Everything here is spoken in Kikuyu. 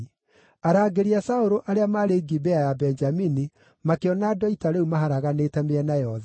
Arangĩri a Saũlũ arĩa maarĩ Gibea ya Benjamini makĩona andũ a ita rĩu maharaganĩte mĩena yothe.